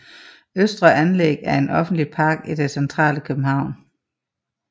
Østre Anlæg er en offentlig park i det centrale København